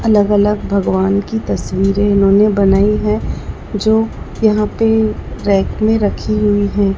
अलग अलग भगवान की तस्वीरे इन्होने बनाई है जो यहां पे रैक में रखी हुई हैं।